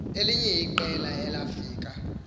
elinye iqela elafika